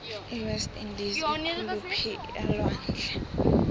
iwest indies ikuliphii alwandle